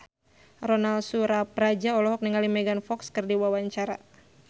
Ronal Surapradja olohok ningali Megan Fox keur diwawancara